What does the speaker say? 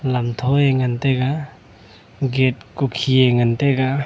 lamtho e ngan taiga gate ku khi e ngan taiga.